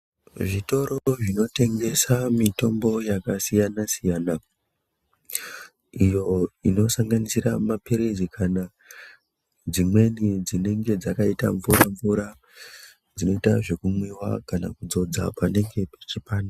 Zvitoro zvinotengeswa mitombo yakasiyana siyana iyo inosanganisira mapirizi kana dzimweni dzinenge dzakaita mvura mvura zvinoita zvekumwiwa kana kudzodza panenge pachipanda.